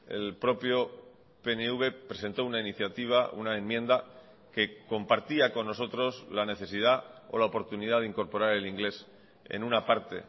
el propio pnv presentó una iniciativa una enmienda que compartía con nosotros la necesidad o la oportunidad de incorporar el inglés en una parte